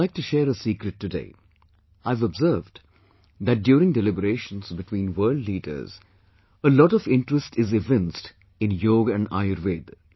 I would like to share a secret today I've observed that during deliberations between world leaders; a lot of interest is evinced in Yog and Ayurved